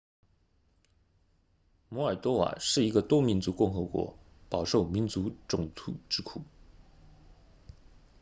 摩尔多瓦是一个多民族共和国饱受民族冲突之苦